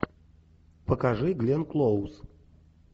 покажи гленн клоуз